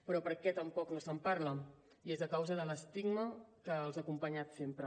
però per què tampoc no se’n parla i és a causa de l’estigma que els ha acompanyat sempre